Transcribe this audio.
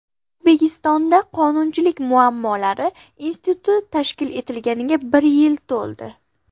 O‘zbekistonda Qonunchilik muammolari instituti tashkil etilganiga bir yil to‘ldi.